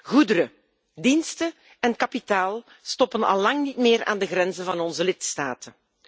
Goederen, diensten en kapitaal stoppen al lang niet meer aan de grenzen van onze lidstaten.